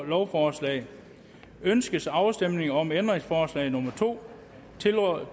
lovforslag ønskes afstemning om ændringsforslag nummer to tiltrådt